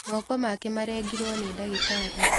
Moko make marengirwo nĩdagĩtarĩ.